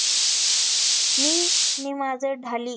मी नि माझं ढाली